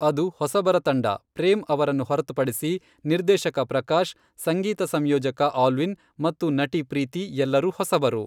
ಅದು ಹೊಸಬರ ತಂಡ, ಪ್ರೇಮ್ ಅವರನ್ನು ಹೊರತುಪಡಿಸಿ, ನಿರ್ದೇಶಕ ಪ್ರಕಾಶ್, ಸಂಗೀತ ಸಂಯೋಜಕ ಆಲ್ವಿನ್ ಮತ್ತು ನಟಿ ಪ್ರೀತಿ ಎಲ್ಲರೂ ಹೊಸಬರು.